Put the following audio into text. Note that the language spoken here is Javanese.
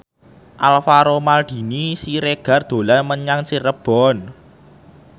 Alvaro Maldini Siregar dolan menyang Cirebon